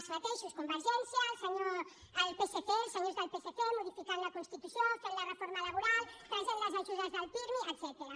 els mateixos convergència el psc els senyors del psc modificant la constitució fent la reforma laboral traient les ajudes del pirmi etcètera